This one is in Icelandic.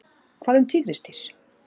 Hvað um tígrisdýr?